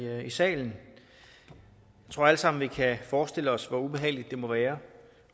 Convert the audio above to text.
salen jeg tror alle sammen vi kan forestille os hvor ubehageligt det må være